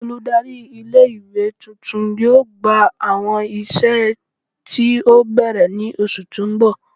Oludari ile iwe tuntun yoo gba awọn iṣẹ ti o bẹrẹ ni oṣu ti n bọ